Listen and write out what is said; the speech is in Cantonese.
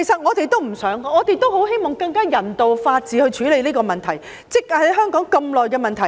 我們也不想這樣，我們很希望以法治、人道的方法處理香港這個積壓多年的問題。